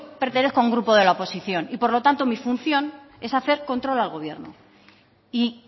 pertenezco a un grupo de la oposición y por lo tanto mi función es hacer control al gobierno y